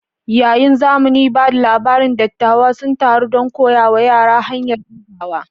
Yayin zaman ba da labari, dattawa sun taru don koya wa yara hanyar kirgawa.